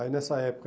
Aí, nessa época,